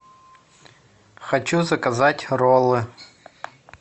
хочу заказать роллы